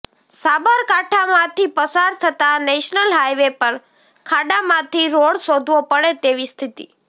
સાબરકાંઠામાંથી પસાર થતા national highway પર ખાડામાંથી રોડ શોધવો પડે તેવી સ્થિતિ